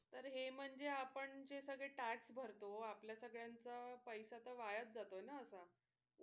तर हे म्हणजे आपण जे सगळे tax भरतो आपल्या सगळ्यांचं पैसा तर वायाच जातोय ना असा.